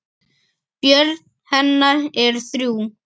Börn hennar eru þrjú.